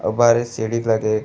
अउ बाहरे सीढ़ी लगे --